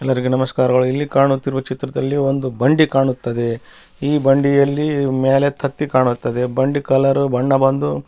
ಎಲ್ಲರಿಗೆ ನಮಸ್ಕಾರಗಳು ಇಲ್ಲಿ ಕಾಣುತ್ತಿರುವ ಚಿತ್ರದಲ್ಲಿ ಒಂದು ಬಂಡಿ ಕಾಣುತ್ತದೆ ಈ ಬಂಡಿಯಲ್ಲಿ ಮೇಲತ್ತೆತ್ತಿ ಕಾಣುತ್ತದೆ ಬಂಡಿ ಕಲರ್ ಬಣ್ಣ ಬಂದು --